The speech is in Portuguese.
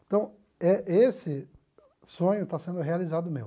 Então eh esse sonho está sendo realizado meu.